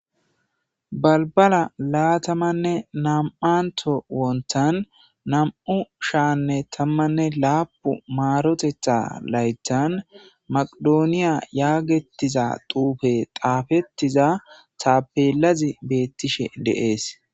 balbala laatamanne nam7anto wontan nam7u shaanne tammanne laapu maarotetha laytan maqidooniya yaagettiza duufe xaafettiza taabelazi beettishe de7ees